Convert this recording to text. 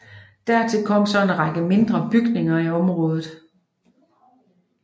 Dertil kom så en række mindre bygninger i området